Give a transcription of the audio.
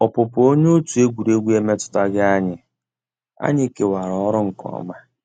Ọ́pụ́pụ́ ónyé ótú égwurégwu emétùtàghị́ ànyị́; ànyị́ kèwàrà ọ́rụ́ nkè ọ́má.